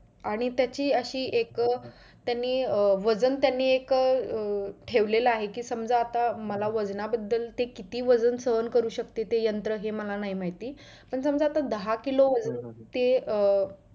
आणि त्याची अशी एक अं त्यांनी वजन अं त्यांनी अं ठेवलेलं आहे कि समजा आता मला वजना बदल ते किती वजन सहन करू शकते ते यंत्र हे मला माहित नाही पण समजा दहा किलो ते अं